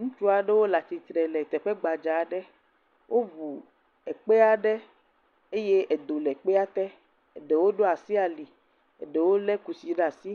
Ŋutsu aɖewo le atistre le teƒe gbadza aɖe. woŋu ekpe aɖe eye edo le kpea te. Eɖewo ɖo asi ali, eɖewo le kusi ɖe asi.